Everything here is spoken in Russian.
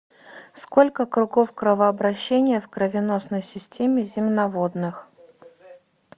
сколько кругов кровообращения в кровеносной системе земноводных